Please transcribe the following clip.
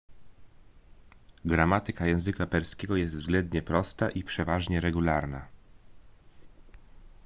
gramatyka języka perskiego jest względnie prosta i przeważnie regularna